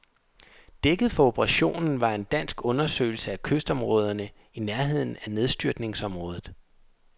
Dækket for operationen var en dansk undersøgelse af kystområderne i nærheden af nedstyrtningsområdet.